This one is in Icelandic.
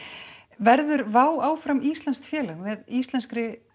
verður áfram íslenskt félag með íslenskri